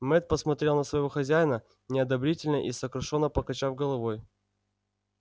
мэтт посмотрел на своего хозяина неодобрительно и сокрушённо покачав головой